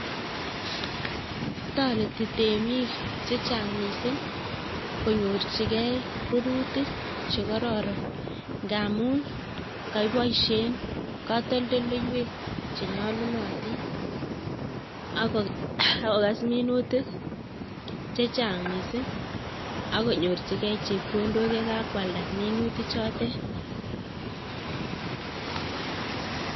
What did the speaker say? Toreti temik chechang' miising' konyorchigei rirutik chekororon ngaamu kakiboisie katoldoloiwek chenyolunotin akokes minutik chechang' miising' akonyorchigei chepkondok yekakwalda minutik chotek